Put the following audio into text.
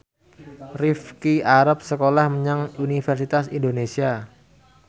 Rifqi arep sekolah menyang Universitas Indonesia